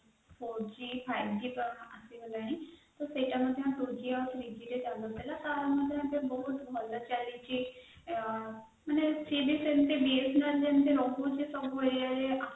four g five g ତ ଆସିଗଲାଣି ତ ସେଇଟା ମଧ୍ୟ three g ଆଉ two g ରେ ଚାଲୁଥିଲା ବହୁତ ଭଲ ଚାଲିଛି